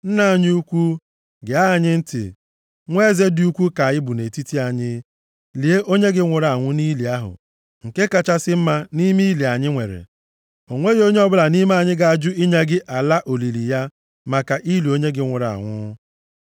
“Nna anyị ukwu, gee anyị ntị. Nwa eze dị ukwu ka ị bụ nʼetiti anyị, lie onye gị nwụrụ anwụ nʼili ahụ nke kachasị mma nʼime ili anyị nwere. O nweghị onye ọbụla nʼime anyị ga-ajụ inye gị ala olili ya maka ili onye gị nwụrụ anwụ.”